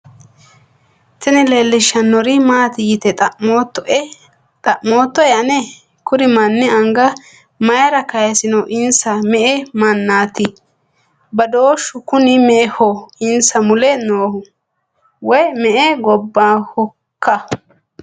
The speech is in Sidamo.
tini leellishshannori maati yite xa'moottoe ane ? kuri manni anga mayra kaysino insa me'e manaati ? badooshu kuni me'eho insa mule noohu ? woy me''e gobbahoikka ?